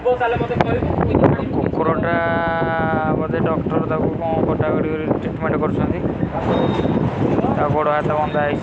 ବୋଧେ ଡକ୍ଟର୍ ତାକୁ କଣ କଟା କଟି କରିକି ତିତ୍ମେଣ୍ଟ କରୁ ଛନ୍ତି ତା ଗୋଡ଼ ହାତ ଭଙ୍ଗା ହେଇଛି।